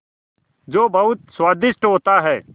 जो बहुत स्वादिष्ट होता है